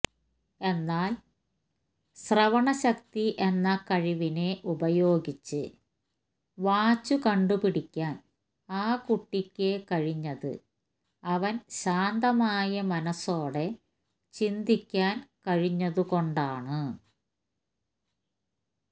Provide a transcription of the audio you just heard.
എന്നാല് ശ്രവണശക്തി എന്ന കഴിവിനെ ഉപയോഗിച്ച് വാച്ചു കണ്ടുപിടിക്കാന് ആ കുട്ടിക്ക് കഴിഞ്ഞത് അവന് ശാന്തമായ മനസ്സോടെ ചിന്തിക്കാന് കഴിഞ്ഞതുകൊണ്ടാണ്